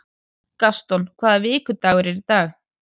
Gaston, hvaða vikudagur er í dag?